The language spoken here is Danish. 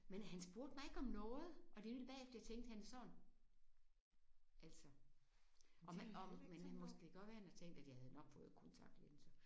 Men han spurgte mig ikke om noget! Og det var nemlig bagefter jeg tænkte han er sådan altså om han om men han måske det kan godt være han tænkte jeg havde nok fået kontaktlinser